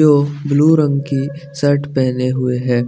जो ब्लू रंग की शर्ट पहने हुए हैं